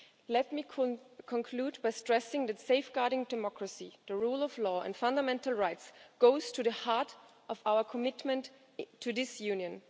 Let me conclude by stressing that safeguarding democracy, the rule of law and fundamental rights goes to the heart of our commitment to this Union.